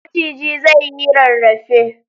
Maciji zai yi rarrafe.